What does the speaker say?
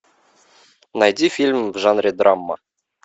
найди фильм в жанре драма